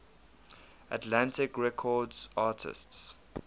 atlantic records artists